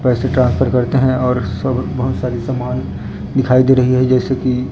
पैसे ट्रांसफर करते हैं और सब बहुत सारी समान दिखाई दे रही है जैसे की--